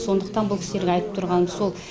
сондықтан бұл кісілерге айтып тұрғаным сол